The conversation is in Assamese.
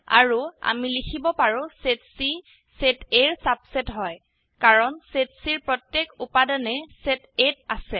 আৰু আমি লিখিব পাৰো160 সেট চি সেট Aৰ সাবসেট হয় কাৰণ সেট Cৰ প্ৰত্যেক উপাদানেই সেট A ত আছে